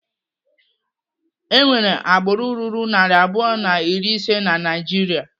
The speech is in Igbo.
Enwere agbụrụ ruru narị abụọ na iri ise na Naijiria.